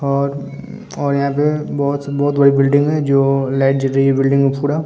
और और यहाँ पे बोहोत से बोहोत बिल्डिंग है जो लाइट जल रही है बिल्डिंग में पूरा।